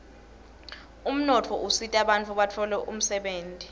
umnotfo usita bantfu batfole umdebenti